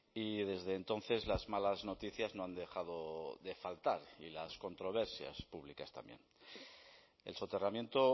y desde entonces las malas noticias no han dejado de faltar y las controversias públicas también el soterramiento